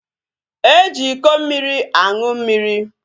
E ji iko mmiri aṅụ mmiri